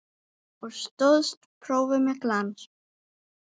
Og stóðst prófið með glans.